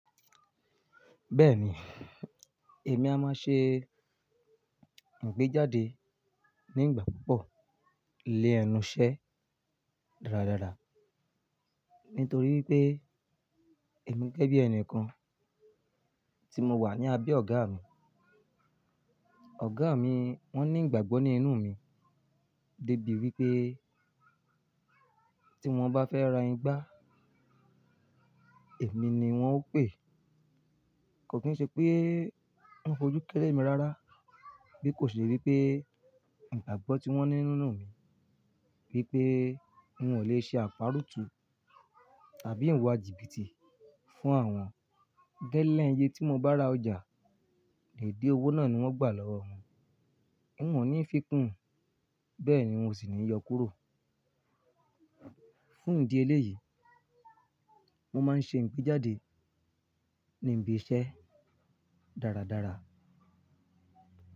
Bẹ́ẹ̀ni, èmi a máa ṣe ìgbéjáde nígbà púpọ̀ lé ẹnu iṣẹ́ dáradára, nítorí pé èmi gẹ́gẹ́ bí ẹni kan tí mo wà ní abẹ́ ọ̀gá mi. Ọ̀gá mi wọ́n ní ìgbàgbọ́ ní inú mi dé bí wí pé tí wọ́n bá fẹ́ ra igbá, èmi ni wọ́n ó pè. Kò kí n ṣe pé wọ́n fojú kẹ́lẹ̀ mi rárá, bí kò ṣe wí pé ìgbàgbọ́ tí wọ́n ní nínú mi wípé n ò lè ṣe àparutú tàbí ìwà jìbìtì fún àwọn gẹlẹ iye tí mo bá ra ọjà, deede owó náà ni n o gbà lọ́wọ́ wọn. N ò ní fikún, bẹ́ẹ̀ ni n ò sì ní yọ kúrò. Fún ìdí eléyìí, mo máa ń ṣe ìgbéjáde níbi iṣẹ́ dáradára.